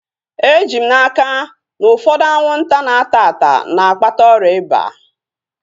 Eji m n'aka, na ụfọdụ anwụnta na-ata ata na-akpata ọrịa ịba